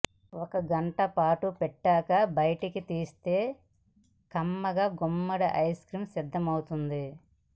ఒక గంటపాటూ పెట్టాక బయటికి తీస్తే యమ్మీగా గుమ్మడి ఐస్ క్రీమ్ సిద్ధమైపోతుంది